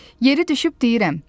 Yeri düşüb deyirəm.